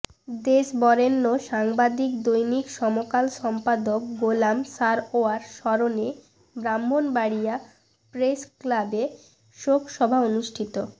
দেশ বরেণ্য সাংবাদিক দৈনিক সমকাল সম্পাদক গোলাম সারওয়ার স্মরণে ব্রাহ্মণবাড়িয়া প্রেস ক্লাবে শোক সভা অনুষ্ঠিত